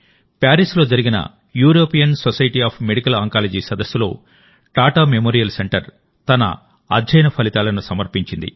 ప్యారిస్లో జరిగిన European society of medical oncology సదస్సులో Tata memorial centre తన అధ్యయన ఫలితాలను సమర్పించింది